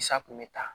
Sa kun bɛ ta